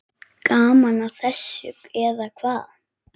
Gaman að þessu, eða hvað?